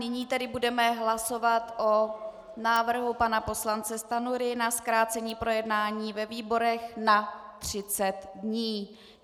Nyní tedy budeme hlasovat o návrhu pana poslance Stanjury na zkrácení projednání ve výborech na 30 dnů.